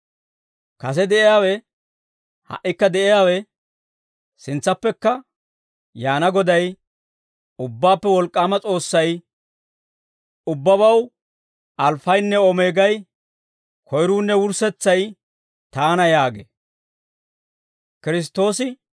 Kase de'iyaawe, ha"ikka de'iyaawe, sintsappekka yaana Goday, Ubbaappe Wolk'k'aama S'oossay, «Ubbabaw Alfaynne Omeegay, koyruunne wurssetsay Taana» yaagee.